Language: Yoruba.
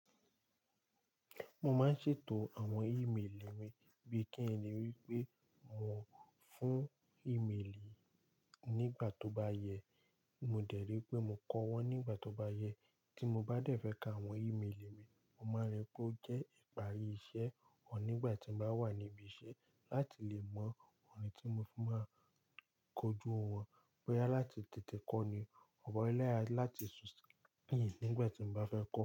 Mo máa ń ṣètò àwọn ímélì mi bí kí n ní wípé mo fún ímélì nígbà tó bá yẹ. Mo dẹ̀ rí pé mo kọ wọ́n nígbà tó bá yẹ. Tí mo bá dẹ̀ fẹ́ ka àwọn ímélì mi, mo máa rí pé ó jẹ́ ìparí iṣẹ́ ọ̀ nígbà tí ń bá wà níbí iṣẹ́ láti lè mọ ohun tí mo fún máa kojú wọn. Béyà láti tètè kọ ni, ọ̀pọ̀ ọ̀rọ̀ ẹlẹ́ya láti sùn síyì nígbà tí mo bá fẹ́ kọ.